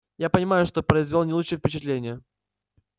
я понимаю что произвёл не лучшее впечатление